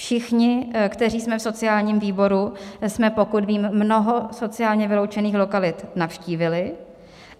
Všichni, kteří jsme v sociálním výboru, jsme, pokud vím, mnoho sociálně vyloučených lokalit navštívili.